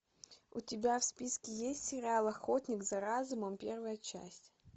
у тебя в списке есть сериал охотник за разумом первая часть